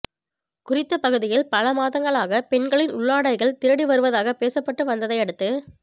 குறித்த பகுதியில் பல மாதங்களாக பெண்களின் உள்ளாடைகள் திருடி வருவதாக பேசப்பட்டு வந்ததையடுத்து